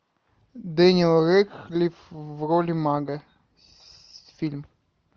дэниел рэдклифф в роли мага фильм